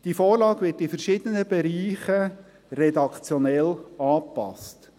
Die Vorlage wird in verschiedenen Bereichen redaktionell angepasst.